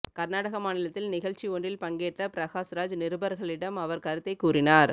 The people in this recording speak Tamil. கர்நாடக மாநிலத்தில் நிகழ்ச்சி ஒன்றில் பங்கேற்ற பிரகாஷ்ராஜ் நிருபர்களிடம் அவர் கருத்தை கூறினார்